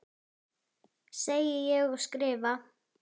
Segi ég og skrifa.